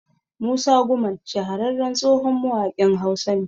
Musa Gumal shahararren tsohon mawaƙin Hausa ne